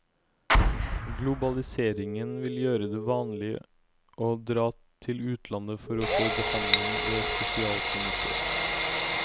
Globaliseringen vil gjøre det vanlig å dra til utlandet for å få behandling ved spesialklinikker.